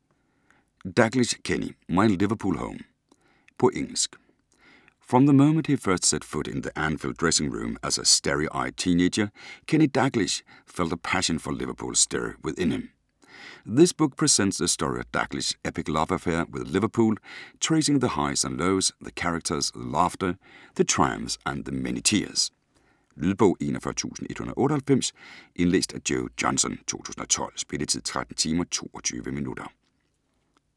Dalglish, Kenny: My Liverpool home På engelsk. From the moment he first set foot in the Anfield dressing-room as a starry-eyed teenager Kenny Dalglish felt a passion for Liverpool stir within him. This book presents the story of Dalglish's epic love affair with Liverpool, tracing the highs and lows, the characters, the laughter, the triumphs and the many tears. Lydbog 41198 Indlæst af Joe Johnson, 2012. Spilletid: 13 timer, 22 minutter.